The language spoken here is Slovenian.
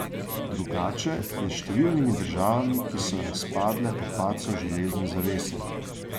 Drugače je s številnimi državami, ki so razpadle po padcu železne zavese.